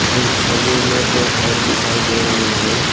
इस छवि में दो घर दिखाई दे रहे हैं।